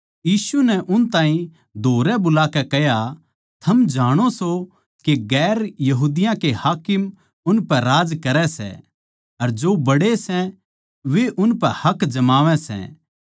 यीशु नै उन ताहीं धोरै बुलाकै कह्या थम जाणो सो के गैर यहूदियाँ के हाकिम उनपै राज करै सै अर जो बड्डे सै वे उनपै हक जमावै सै